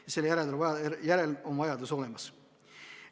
Ja selle järele on vajadus olemas.